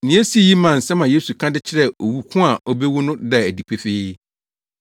Nea esii yi maa nsɛm a Yesu ka de kyerɛɛ owu ko a obewu no daa adi pefee.